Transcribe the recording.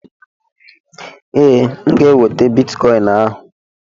Ee, M ga-enweta bitikọin ahụ.